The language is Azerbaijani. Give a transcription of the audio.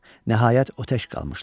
Nəhayət o tək qalmışdı.